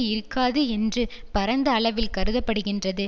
இருக்காது என்று பரந்த அளவில் கருத படுகின்றது